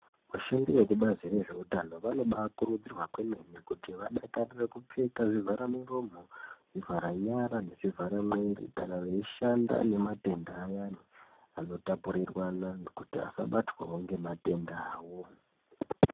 Vashandi vekubazi rezveutano vanokurudzirwa kwemene kuti vadakarire kupfeka zvivhara muromo, zvivhara nyara nezvivhara mwiri kana veishanda nematenda ayani ano tapuriranwa kuti asabatwawo ngematenda awo.